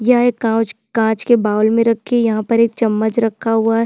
यह एक कांच कांच के बाउल में रखी यहाँ पर एक चम्मच रखा हुआ है।